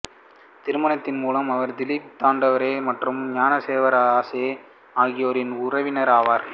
திருமணத்தின் மூலம் அவர் திலீப் தண்டேகர் மற்றும் ஞானேஸ்வர் அகசே ஆகியோரின் உறவினர் ஆனார்